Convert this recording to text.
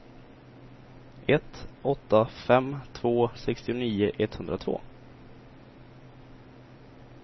ett åtta fem två sextionio etthundratvå